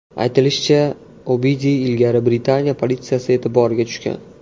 Aytilishicha, Obidiy ilgari Britaniya politsiyasi e’tiboriga tushgan.